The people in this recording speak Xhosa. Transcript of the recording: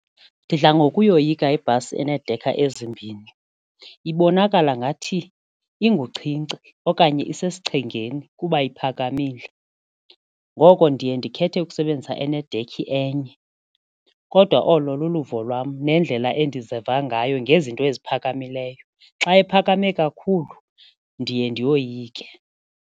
Ndidla ngokuyoyika ibhasi eneedekha ezimbini, ibonakala ngathi unguchinchi okanye isesichengeni kuba iphakamile ngoko ndiye ndikhethe ukusebenzisa enedekhi enye kodwa olo luluvo lwam nendlela endiziva ngayo ngezinto eziphakamileyo. Xa iphakame kakhulu ndiye ndiyoyike.